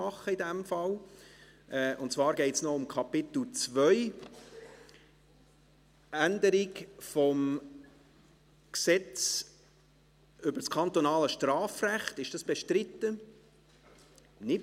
II. 1. Änderung des Erlasses 311.1, Gesetz über das kantonale Strafrecht vom 09.04.2009 (KStrG), Stand 01.01.2011 / 1.